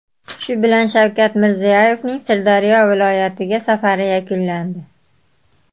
Shu bilan Shavkat Mirziyoyevning Sirdaryo viloyatiga safari yakunlandi.